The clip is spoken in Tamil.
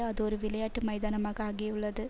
அது ஒரு விளையாட்டு மைதானமாக ஆகியுள்ளது